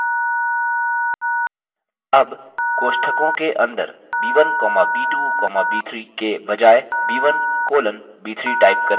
अब कोष्ठकों के अंदर b1 comma b2 comma b3 के बजाय b1 colon b3 type करें